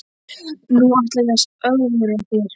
Nú ætla ég að ögra þér.